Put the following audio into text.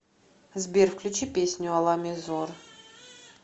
сбер включи песню алами зор